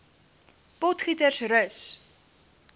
potgietersrus